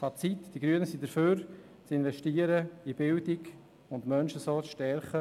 Fazit: Die Grünen sind dafür, in Bildung zu investieren und damit Menschen zu stärken.